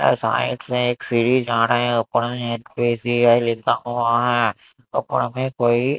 side से एक सीढ़ी आ रहे हैं ऊपर में लिखा हुआ हैं ऊपर में कोई--